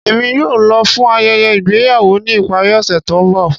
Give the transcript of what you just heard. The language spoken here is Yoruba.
Emi yóò lọ fun ayẹyẹ igbeyawo ni ipari ose to nbọ